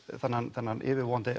þennan þennan yfirvofandi